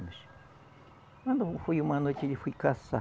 Quando foi uma noite, ele foi caçar.